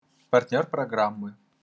партнёр программы